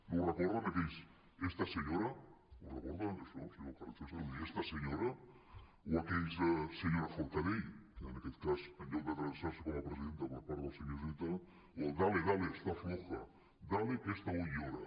no els recorden aquells esta señora ho recorda això senyor carrizosa els esta señoraforcadell en aquest cas en lloc d’adreçar s’hi com a presidenta per part del senyor iceta o el dale dale está floja dale que esta hoy llora